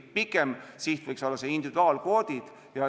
Pikem siht võiks olla ikkagi individuaalkvoodid.